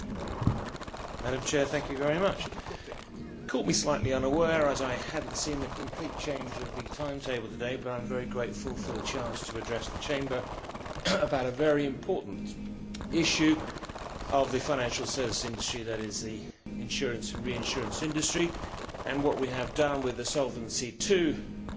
Madam President, you caught me slightly unawares as I had not seen the complete change of the timetable today, but I am very grateful for the chance to address the Chamber about a very important issue of the financial services industry, that is, the insurance and reinsurance industry, what we have done with the Solvency II report